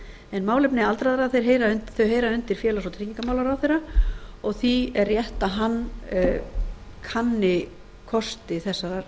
boði málefni aldraðra heyra undir félags og tryggingamálaráðherra og því er rétt að hann kanni kosti þessarar